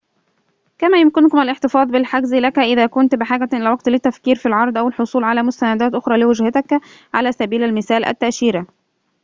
كما يمكنهم الاحتفاظ بالحجز لك إذا كنت بحاجة إلى وقت للتفكير في العرض أو الحصول على مستندات أخرى لوجهتك على سبيل المثال، التأشيرة